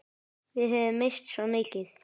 Við höfum misst svo mikið.